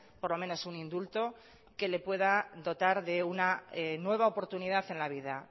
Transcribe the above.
por lo menos un indulto que le pueda dotar de una nueva oportunidad en la vida